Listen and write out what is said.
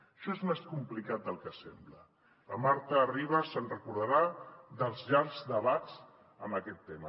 això és més complicat del que sembla la marta ribas es deu recordar dels llargs debats en aquest tema